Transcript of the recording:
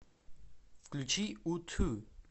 включи у ту